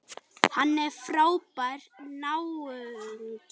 Hann er frábær náungi.